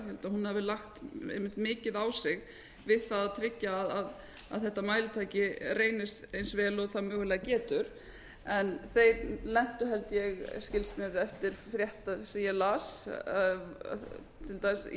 að hún hafi lagt einmitt mikið á sig við það að tryggja að þetta mælitæki reynist eins vel og það mögulega getur en þeir lentu held ég skilst mér eftir frétt sem ég las til dæmis í